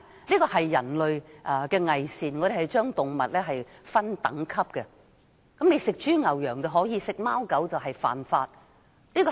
這是人類的偽善，我們將動物分等級，豬、牛、羊可以吃，吃貓吃狗則犯法。